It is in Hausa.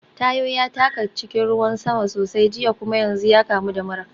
Tayo ya taka cikin ruwan sama sosai jiya kuma yanzu ya kamu da mura.